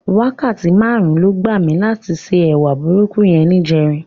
Wákàtí márùn-ún ló gbà mí láti se ẹwà burúkú yẹn níjẹrin.